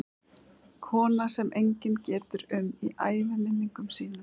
Kona sem enginn getur um í æviminningum sínum.